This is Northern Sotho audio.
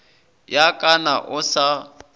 ya ka na o sa